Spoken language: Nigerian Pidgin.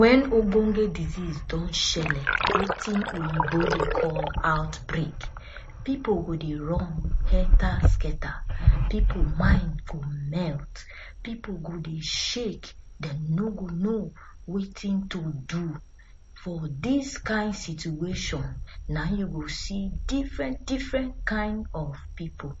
when ogbonge desease don shele wetin oyibo dey call outbreak pepole go dey run, helta skelta people mind dey melt people go dey shake, dem no go know wetin to do for this kind situation na him you go see diffren diffren kind of people